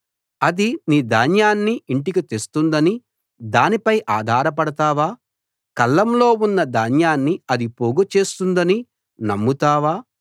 అది నీ ధాన్యాన్ని ఇంటికి తెస్తుందని దానిపై ఆధారపడతావా కళ్ళంలో ఉన్న ధాన్యాన్ని అది పోగు చేస్తుందని నమ్ముతావా